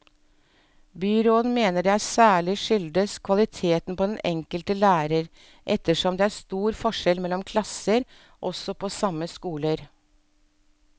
Byråden mener at det særlig skyldes kvaliteten på den enkelte lærer, ettersom det er stor forskjell mellom klasser, også på samme skoler.